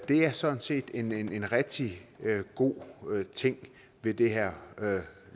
er sådan set en en rigtig god ting ved det her